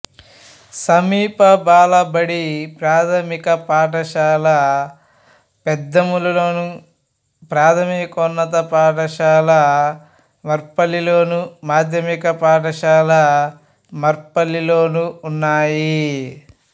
సమీప బాలబడి ప్రాథమిక పాఠశాల పెద్దేముల్లోను ప్రాథమికోన్నత పాఠశాల మర్పల్లిలోను మాధ్యమిక పాఠశాల మర్పల్లిలోనూ ఉన్నాయి